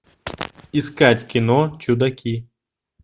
искать кино чудаки